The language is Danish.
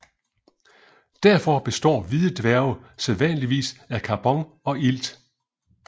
Derfor består hvide dværge sædvanligvis af karbon og ilt